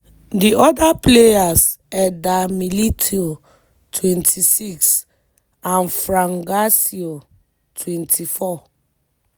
di oda players eder militao (26) and fran garcia (24).